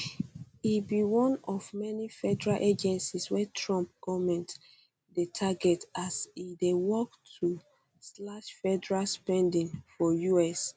e be one of many federal agencies wey trump goment dey target as e dey work to slash federal spending for us